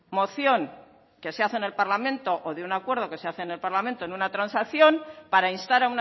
moción que se hace en el parlamento o de un acuerdo que se hace en el parlamento en una transacción para instar